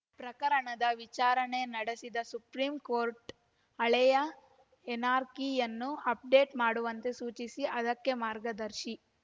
ಪ್ರಕರಣದ ವಿಚಾರಣೆ ನಡೆಸಿದ ಸುಪ್ರೀಂಕೋರ್ಟ್‌ ಹಳೆಯ ಎನ್‌ಆರ್‌ಕಿ ಯನ್ನು ಅಪ್‌ಡೇಟ್‌ ಮಾಡುವಂತೆ ಸೂಚಿಸಿ ಅದಕ್ಕೆ ಮಾರ್ಗದರ್ಶಿ